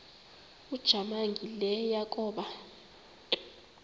ujamangi le yakoba